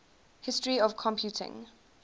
history of computing